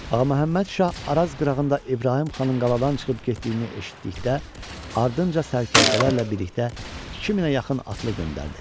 Ağa Məhəmməd Şah Araz qırağında İbrahim xanın qaladan çıxıb getdiyini eşitdikdə ardınca sərkərdələrlə birlikdə 2000-ə yaxın atlı göndərdi.